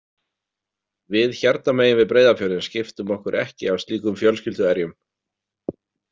Við hérna megin við Breiðafjörðinn skiptum okkur ekki af slíkum fjölskylduerjum.